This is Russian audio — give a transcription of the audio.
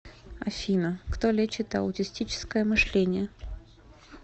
афина кто лечит аутистическое мышление